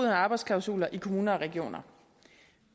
af arbejdsklausuler i kommuner og regioner